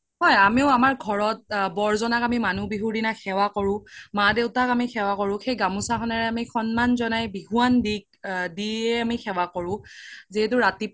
আমিও আমাৰ ঘৰত বৰ জনাক আমি মানুহ বিহুৰ দিনা সেৱা কৰো মা দেউতাক আমি সেৱা কৰো সেই গামোচা খনেৰে আমি সন্মান জনাই বিহুৱান দিয়ে আমি সেৱা কৰো যিহেতু ৰাতিপুৱা